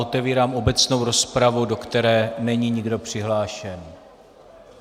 Otevírám obecnou rozpravu, do které není nikdo přihlášen.